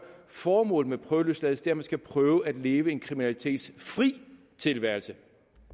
formålet med prøveløsladelse er at man skal prøve at leve en kriminalitetsfri tilværelse